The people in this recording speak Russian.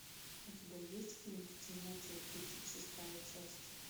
у тебя есть фильм в темноте тридцать шестая часть